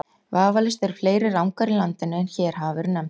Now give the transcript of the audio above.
Vafalaust eru fleiri Rangár í landinu en hér hafa verið nefndar.